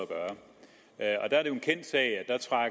at